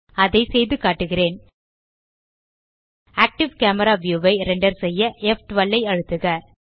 அதை செய்துகாட்டுகிறேன் active camera view ஐ ரெண்டர் செய்ய ப்12 ஐ அழுத்துக